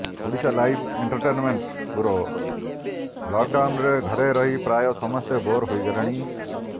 Odisha live entertainment bureau ଲକ୍ଡାଉନରେ ଘରେ ରହି ପ୍ରାୟ ସମସ୍ତେ ବୋର୍ ହୋଇଗଲେଣି